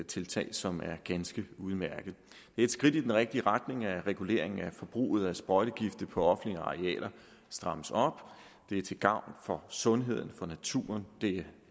tiltag som er ganske udmærkede det et skridt i den rigtige retning at reguleringen af forbruget af sprøjtegifte på offentlige arealer strammes op det er til gavn for sundheden for naturen det